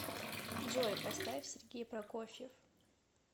джой поставь сергей прокофьев